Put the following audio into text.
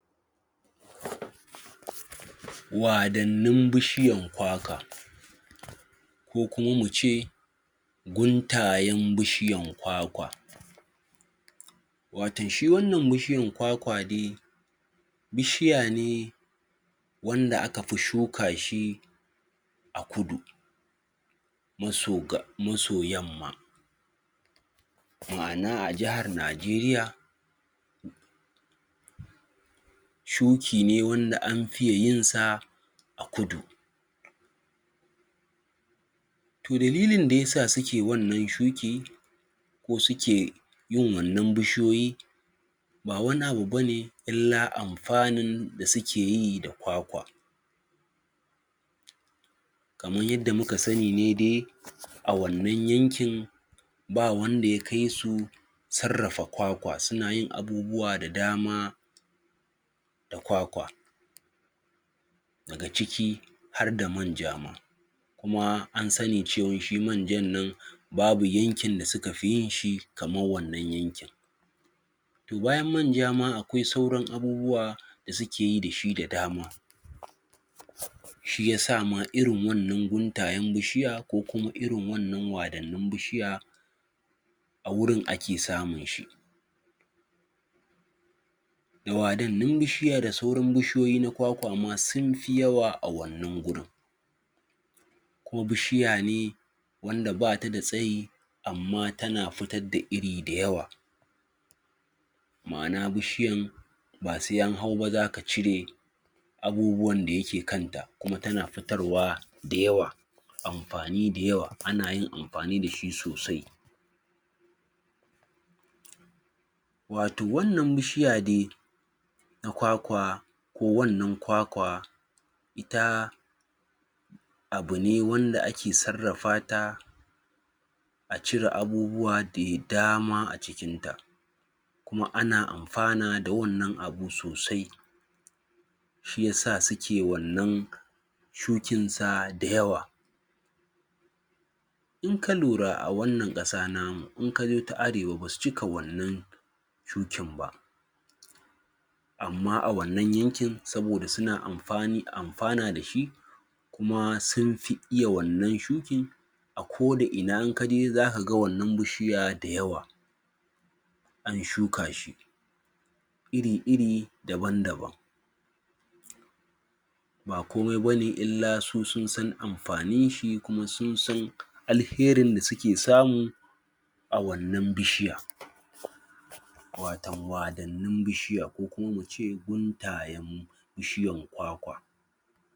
wadannin bushiyan kwakwa ko kuma mu ce guntayen bishiyan kwakwa watan shi wannan bishiyan kwakwa dai bishiya ne wanda aka fishuka shi a kudu maso yamma ma'ana a jihar Najeriya shuki ne wanda an fiye yin sa a kudu toh dalilin da yake sa su ke yin wannan shukin ko suke yin wannan bushiyoyi ba wani abu bane ila amfanin da suke yi da kwakwa kaman yadda muka sani ne dai a wannan yankin ba wanda ya kaisu sarrafa kwakwa suna yin abubuwa da dama da kwakwa daga ciki har da man ja ma kuma an sani cewa shi man jan nan babu yankin da suka fi yin shi kaman wannan yankin toh bayan man ja ma akwai sauran abubuwa da suke yi da shi da dama shi yasa ma irin wannan guntayen bishiya ko kuma irin wannan wadannin bishiya a wurin ake samin shi da wadannin bishiya da sauran bishiyoyi kwakwama sun fi yawa a wannan gurin kuma bishiya ne wanda ba ta da tsayi amma ta na fitar da iri da yawa ma'ana bishiyan ba sai an hau ba za ka cire abubuwan da ya je kan ta kuma ta na fitarwa da yawa amfani da yawa ana yin amfani da shi ne watau wannan bishiya dai na kwakwa kowannan kwakwa ta abu ne wanda ake sarrafa ta a cire abubuwa da dama a cikin ta kuma ana amfana da wannan abu sosai shi ya sa suke wannan shukin sa da yawa in ka lura a wannan kasa na mu in ka je ta arewa ba su cika wannan shukin ba amma a wannan yankin soboda su na amfana da shi kuma sun fi iya wannan shuki kodaina in ka je za ka ga wannan bushiya da yawa an shuka shi iri iri daban daban ba komai ba ne ila su sun san amfanin shi kuma sun san alherin da su ke samu a wannan bishiya watau wadannin bishiya ko muce guntayen bishiyan kwakwa